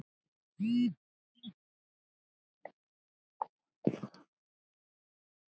Bæði í orðum og riti.